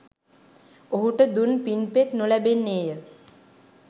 ඔහුට දුන් පින් පෙත් නොලැබෙන්නේ ය.